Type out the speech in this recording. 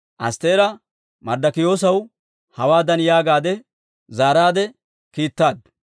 Astteera Marddokiyoosaw hawaadan yaagaadde zaaraadde kiittaaddu;